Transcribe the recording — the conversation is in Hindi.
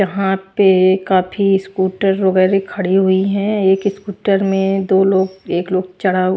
यहां पे काफी स्कूटर वगैरह खड़ी हुई हैं एक स्कूटर में दो लोग एक लोग चढ़ा--